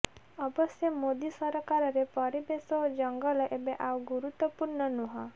ଅବଶ୍ୟ ମୋଦି ସରକାରରେ ପରିବେଶ ଓ ଜଙ୍ଗଲ ଏବେ ଆଉ ଗୁରୁତ୍ୱପୂର୍ଣ୍ଣ ନୁହଁ